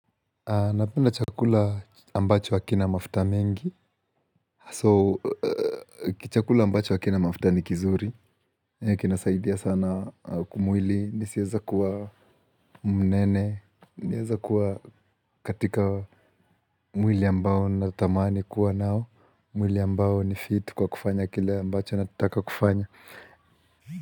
Napenda chakula ambacho hakina mafuta mingi. So, kichakula ambacho hakina mafuta ni kizuri. Huwa kinasaidia sana kwa mwili. Nisieze kuwa mnene. Naeza kuwa katika mwili ambao natamani kuwa nao. Mwili ambao ni fit kwa kufanya kile ambacho nataka kufanya.